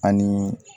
Ani